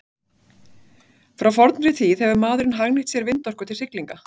Frá fornri tíð hefur maðurinn hagnýtt sér vindorku til siglinga.